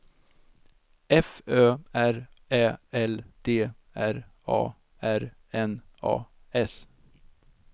F Ö R Ä L D R A R N A S